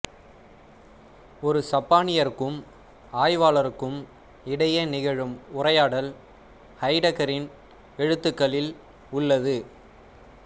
ஒரு சப்பானியருக்கும் ஆய்வாளருக்கும் இடையே நிகழும் உரையாடல் ஹைடகரின் எழுத்துகளில் உள்ளது